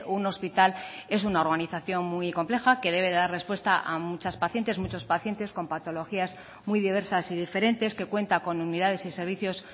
un hospital es una organización muy compleja que debe dar respuesta a muchas pacientes muchos pacientes con patologías muy diversas y diferentes que cuenta con unidades y servicios